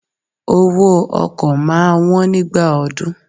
Owó ọkọ̀ máa wón nígbà ọdún.